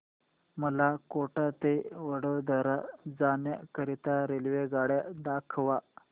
मला कोटा ते वडोदरा जाण्या करीता रेल्वेगाड्या दाखवा